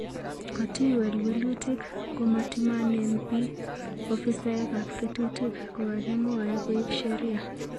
Kotiwel welutik ko matimanen pii, ofisaek ap ketutik kokakimwaei koip sheria